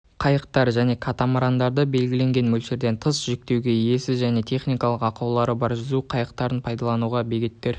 қайықтар және катамарандарды белгіленген мөлшерден тыс жүктеуге иесіз және техникалық ақаулары бар жүзу құралдарын пайдалануға бөгеттер